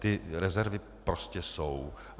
Ty rezervy prostě jsou.